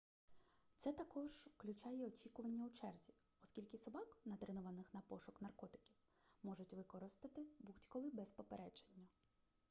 це також включає й очікування у черзі оскільки собак натренованих на пошук наркотиків можуть використати будь-коли без попередження